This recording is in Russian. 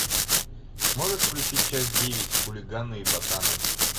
можешь включить часть девять хулиганы и ботаны